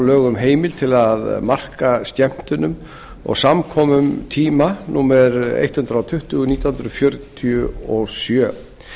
um heimild til að marka skemmtunum og samkomum tíma númer hundrað tuttugu nítján hundruð fjörutíu og sjö